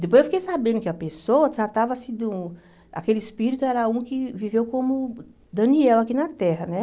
Depois eu fiquei sabendo que a pessoa tratava-se de um... Aquele espírito era um que viveu como Daniel aqui na Terra, né?